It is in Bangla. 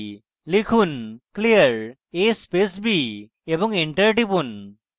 লিখুন clear a space b এবং enter টিপুন